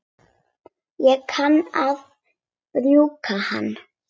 Ég kann að brúka hann.